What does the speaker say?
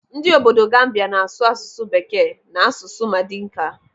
Ndị obodo Gambia n'asụ asụsụ bekee na asụsụ Madinka.